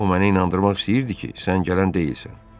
O məni inandırmaq istəyirdi ki, sən gələn deyilsən.